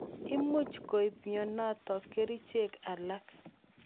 Imuch koip mianotok kerichek alake.